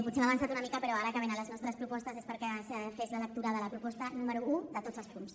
potser m’he avançat una mica però ara que venen les nostres propostes és perquè es fes la lectura de la proposta número un de tots els punts